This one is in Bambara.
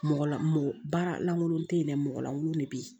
Mɔgɔ la mɔgɔ baara lankolon te yen dɛ mɔgɔ lankolon de be yen